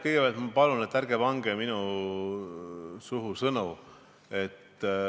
Kõigepealt ma palun, et ärge pange mulle sõnu suhu.